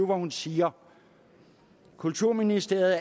hun siger kulturministeriet